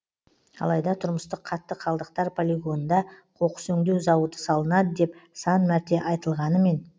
алайда тұрмыстық қатты қалдықтар полигонында қоқыс өңдеу зауыты салынады деп сан мәрте айтылғанымен